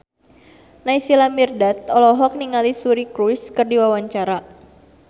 Naysila Mirdad olohok ningali Suri Cruise keur diwawancara